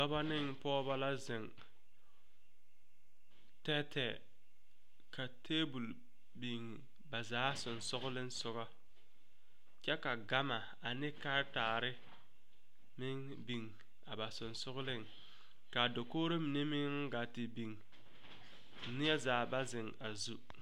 Dɔba ne pɔgeba la ziŋ tɛɛtɛɛ ka tabol biŋ ba zaa sɔŋsɔgliŋsɔgɔ kyɛ ka gama ane karetaare meŋ biŋ a ba sɔŋsɔgliŋ kaa dakogro mine beŋ gaa te biŋ neɛ zaa ba a zu.